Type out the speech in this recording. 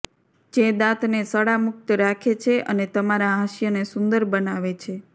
જે દાંતને સડા મુક્ત રાખે છે અને તમારા હાસ્યને સુંદર બનાવે છે